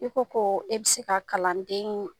I ko koo e be se ka kalandeen